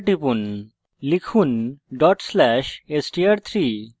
enter টিপুন লিখুন /str3ডট স্লেস str3